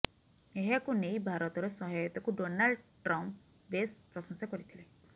ଏହାକୁ ନେଇ ଭାରତର ସହାୟତାକୁ ନାଲ୍ଡ ଟ୍ରମ୍ପ ବେଶ୍ ପ୍ରଶଂସା କରିଥିଲେ